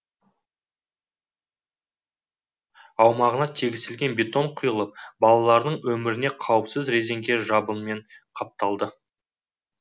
аумағына тегістелген бетон құйылып балалардың өміріне қауіпсіз резеңке жабынмен қапталды